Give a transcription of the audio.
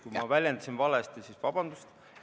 Kui ma väljendusin valesti, siis vabandust!